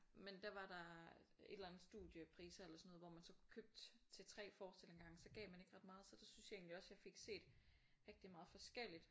Men der var der et eller andet studiepriser eller sådan noget hvor man så købte til 3 forestillinger af gangen så gav man ikke ret meget så der synes jeg også jeg fik set rigtig meget forskelligt